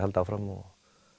halda áfram og